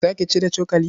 Za ka ci da cokali?